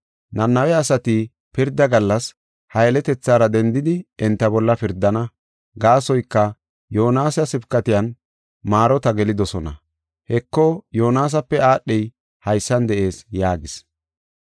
Nanawe asati pirda gallas ha yeletethaara dendidi enta bolla pirdana. Gaasoyka, Yoonasa sibkatiyan maarota gelidosona. Heko, Yoonasape aadhey haysan de7ees” yaagis.